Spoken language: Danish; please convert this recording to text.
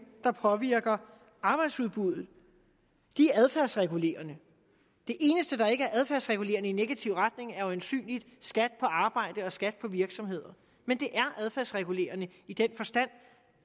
der påvirker arbejdsudbuddet adfærdsregulerende det eneste der ikke er adfærdsregulerende i negativ retning er øjensynlig skat på arbejde og skat på virksomheder men det er adfærdsregulerende i den forstand